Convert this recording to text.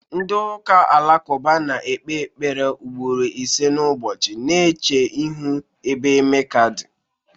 Ndị ụka Alakụba na-ekpe ekpere ugboro ise n'ụbọchị, na-eche ihu n'ebe Meka dị.